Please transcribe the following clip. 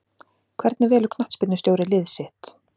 Hvernig velur knattspyrnustjóri lið sitt?